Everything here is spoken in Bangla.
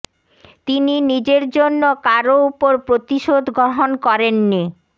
তিনি নিজের জন্য কারো উপর প্রতিশোধ গ্রহণ করেননি